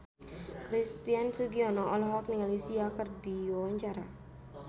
Christian Sugiono olohok ningali Sia keur diwawancara